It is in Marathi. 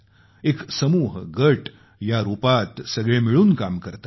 एक समूह गट या रूपात सगळे मिळून काम करतात